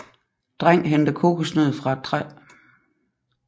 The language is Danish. Dreng henter kokosnød fra et træ